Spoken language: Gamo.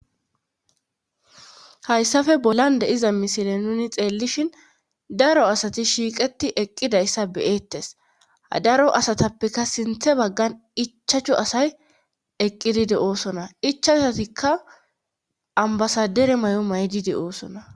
Hayssafe bolan de iza misile nuni xeellishin daro asati shiiqeti eqqidayssa beyeettes daro asatappeka sinthe baggan ichachu asay eqqidide oosona ichasatikka ambasadere may7o maydide oosona.